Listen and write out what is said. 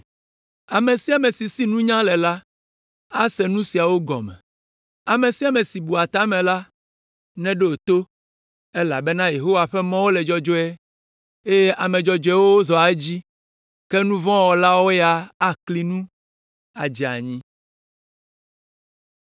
Ame sia ame si si nunya le la, ase nu siawo gɔme. Ame sia ame si bua ta me la, neɖo to, elabena Yehowa ƒe mɔwo le dzɔdzɔe, eye ame dzɔdzɔewoe zɔa edzi, ke nu vɔ̃ wɔlawo ya akli nu, adze anyi.